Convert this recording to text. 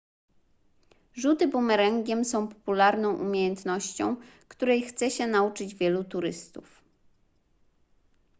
rzuty bumerangiem są popularną umiejętnością której chce się nauczyć wielu turystów